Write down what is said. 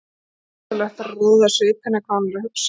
Ómögulegt er að ráða af svip hennar hvað hún er að hugsa.